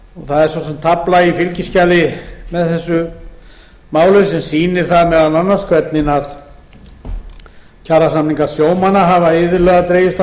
það er svo sem tafla í fylgiskjali með þessu máli sem sýnir meðal annars hvernig kjarasamningar sjómanna hafa iðulega dregist